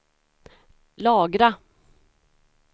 lagra